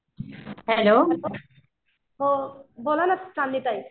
Hello हो बोला ना सान्वी ताई.